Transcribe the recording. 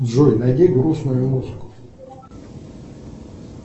джой найди грустную музыку